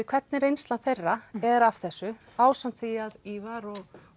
hvernig reynsla þeirra er af þessu ásamt því að Ívar og